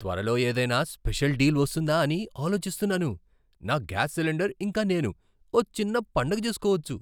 త్వరలో ఏదైనా special deal వస్తుందా అని ఆలోచిస్తున్నాను. నా గ్యాస్ సిలిండర్, ఇంకా నేను ఓ చిన్న పండగ చేసుకోవచ్చు!